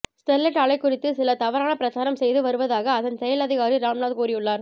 Sterlite ஆலை குறித்து சிலர் தவறான பிரச்சாரம் செய்து வருவதாக அதன் செயல் அதிகாரி ராம்நாத் கூறியுள்ளார்